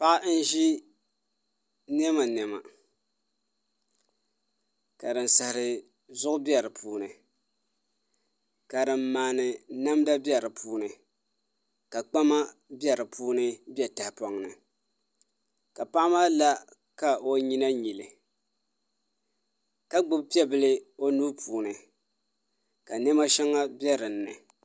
Paɣa n ʒi niɛma niɛma ka din saɣari zuɣu bɛ di puuni ka din maandi namda bɛ di puuni ka kpama bɛ di puuni bɛ tahapoŋ ni ka paɣa maa la ka o nyina nyili ka gbubi piɛbili o nuu puuni ka niɛma shɛli biɛ dinni